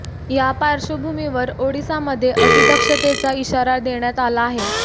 या पार्श्वभूमीवर ओडिसामध्ये अति दक्षतेचा इशारा देण्यात आला आहे